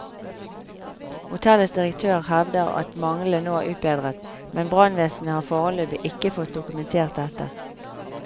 Hotellets direktør hevder at manglene nå er utbedret, men brannvesenet har foreløpig ikke fått dokumentert dette.